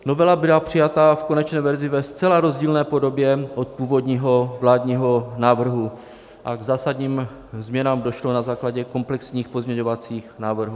Novela byla přijata v konečné verzi ve zcela rozdílné podobě od původního vládního návrhu a k zásadním změnám došlo na základě komplexních pozměňovacích návrhů.